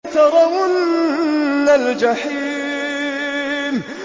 لَتَرَوُنَّ الْجَحِيمَ